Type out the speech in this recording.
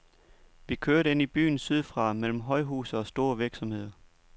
Vi kørte ind i byen sydfra, mellem højhuse og store virksomheder.